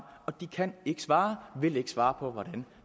og de kan ikke svare vil ikke svare på hvordan